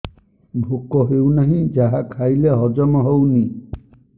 ଭୋକ ହେଉନାହିଁ ଯାହା ଖାଇଲେ ହଜମ ହଉନି